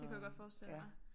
Det kunne jeg godt forstille mig